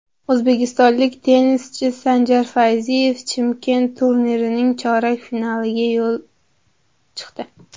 O‘zbekistonlik tennischi Sanjar Fayziyev Chimkent turnirining chorak finaliga chiqdi.